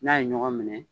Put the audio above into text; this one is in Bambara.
N'a ye ɲɔgɔn minɛ